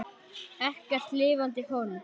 Ekkert lifandi hold.